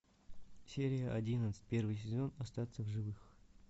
серия одиннадцать первый сезон остаться в живых